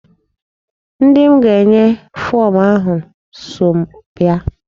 Ndị m ga-enye fom ahụ so m bịa.